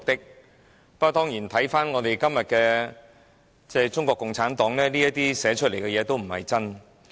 不過，當然，看回今天的中國共產黨，這些寫明的事實都不是真的。